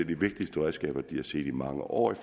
de vigtigste redskaber de har set i mange år i